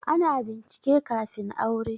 Ana bincike kafin aure